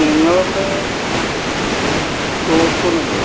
നിങ്ങടവിടെ shop ഒന്നും ഇല്ലേ?